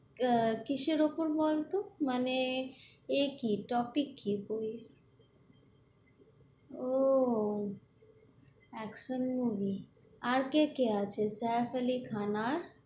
আহ কিসের উপর বলত, মানে এ কী? টপিক কী? বই এর ও action movie আর কে কে আছে সাইফ আলী খান আর, "